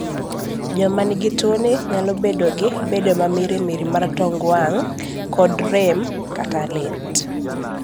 joma nigi tuo ni nyalo bedo gi bedo mamirimiri mar tong wang' kod rem/lit